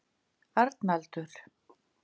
Arnaldur